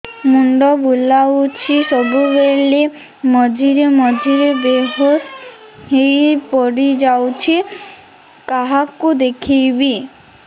ମୁଣ୍ଡ ବୁଲାଉଛି ସବୁବେଳେ ମଝିରେ ମଝିରେ ବେହୋସ ହେଇ ପଡିଯାଉଛି କାହାକୁ ଦେଖେଇବି